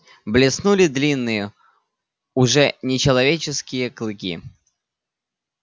блеснули длинные уже нечеловеческие клыки